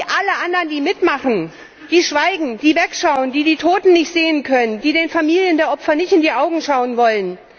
Genau wie alle anderen, die mitmachen, die schweigen, die wegschauen, die die Toten nicht sehen können, die den Familien der Opfer nicht in die Augen schauen wollen.